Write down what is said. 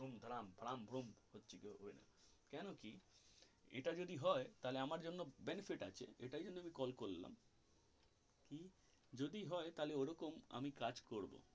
ধুম ধারাম ধারাম ধুম হচ্ছে কি হবে না কেন কি এটা যদি হয় তাহলে আমার জন্য benefit আছে এটাই জন্য call করলাম যদি হয় তাহলে ওই রকম কাজ করবো.